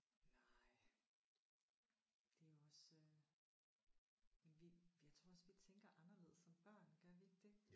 Nej. Det er jo også øh vildt jeg tror også vi tænker anderledes som børn gør vi ikke det